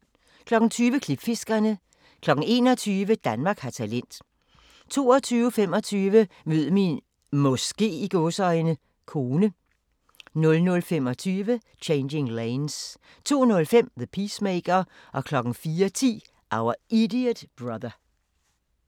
21:00: Danmark har talent 22:25: Mød min "måske" kone 00:25: Changing Lanes 02:05: The Peacemaker 04:10: Our Idiot Brother